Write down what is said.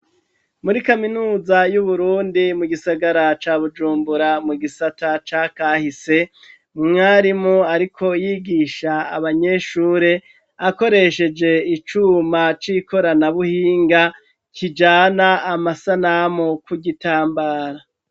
Muri Kaminuza y'Uburundi mu gisagara ca Bujumbura mu gisata ca kahise, umwarimu ariko yigisha abanyeshure akoresheje icuma c'ikoranabuhinga, kijana amasanamu ku gitambara.